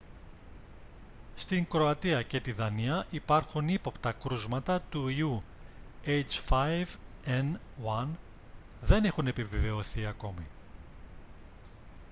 στην κροατία και τη δανία υπάρχουν ύποπτα κρούσματα του ιού h5n1 δεν έχουν επιβεβαιωθεί ακόμη